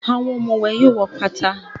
Àwọn òmùwẹ̀ yóò wọ́ pátá.